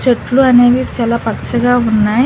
చెట్లు అనేవి చాలా పచ్చగా ఉన్నాయి.